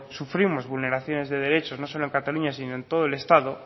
sufrimos vulneraciones de derecho no solo en cataluña sino en todo el estado